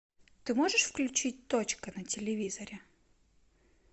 ты можешь включить точка на телевизоре